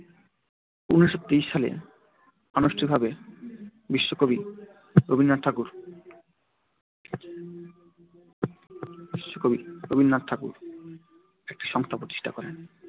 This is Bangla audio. উনিশো তেইশ সালে আনুষ্ঠানিক ভাবে বিশ্বকবি রবীন্দ্রনাথ ঠাকুর একটি সংস্থা প্রতিষ্ঠা করেন।